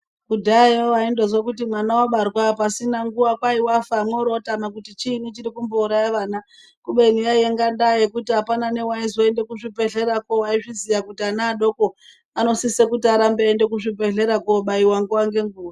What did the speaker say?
Kudhayayo waindozwa kuti mwana wabarwa pasina nguva kwaiwafa mworomwotama kuti chiinyi chiri kumbouraya vana kubeni yainga ndaa yekuti apana newaizoenda kuzvibhedhlera kwo waiziva kuti ana adoko anosisa kuti arambe eienda kuzvibhedhlera kobayiwa nguva nenguva.